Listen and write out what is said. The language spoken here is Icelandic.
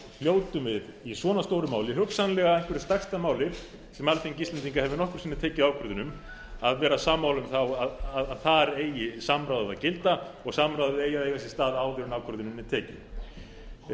hljótum við í svona stóru máli hugsanlega einhverju stærsta máli sem alþingi íslendinga hefur nokkru sinni tekið ákvörðun um að vera sammála um að þar eigi samráðið að gilda og samráðið eigi að eiga sér stað áður en ákvörðunin er